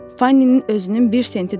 Fanninin özünün bir senti də olmaz.